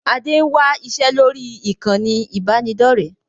Adé ń wá iṣẹ́ lórí ìkànnì ibanidọ̀rẹ́